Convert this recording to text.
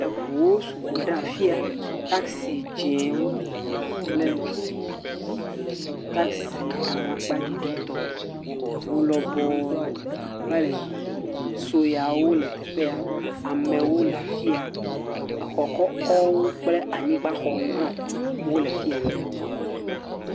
Ŋuwo sɔgbɔ ɖe afia. Taksi dzɛ̃wo kpe taksi amakpaɖiɖitɔ. Ŋu lɔbɔ va le yiyim, suewo le teƒea, amewo le afia, xɔ kɔkɔwo kple anyigba xɔwo hã le afia.